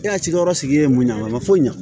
E ka cikɛyɔrɔ sigi ye mun ɲa a ma foyi ɲa